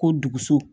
Ko duguso